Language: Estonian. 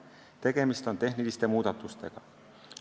Tegemist on tehniliste muudatustega.